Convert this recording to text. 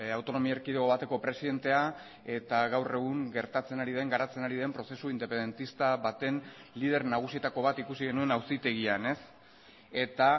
autonomia erkidego bateko presidentea eta gaur egun gertatzen ari den garatzen ari den prozesu independentista baten lider nagusietako bat ikusi genuen auzitegian eta